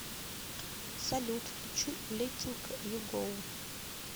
салют включи леттинг ю гоу